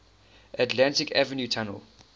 atlantic avenue tunnel